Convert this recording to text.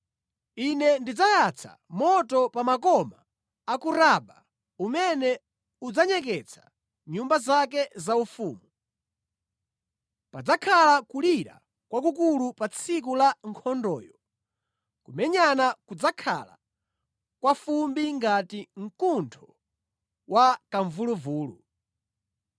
Ine ndidzayatsa moto pa makoma a ku Raba umene udzanyeketsa nyumba zake zaufumu. Padzakhala kulira kwakukulu pa tsiku la nkhondoyo, kumenyana kudzakhala kwafumbi ngati mkuntho wa kamvuluvulu.